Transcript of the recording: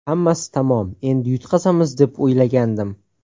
Hammasi tamom, endi yutqazamiz, deb o‘ylagandim.